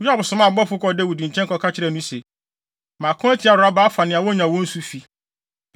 Yoab somaa abɔfo kɔɔ Dawid nkyɛn, kɔka kyerɛɛ no se, “Mako atia Raba, afa nea wonya wɔn nsu fi.